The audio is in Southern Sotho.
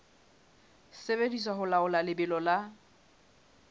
sebediswa ho laola lebelo la